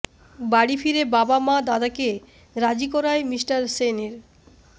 বাড়ি ফিরে বাবা মা দাদাকে রাজী করায় মিঃ সেনের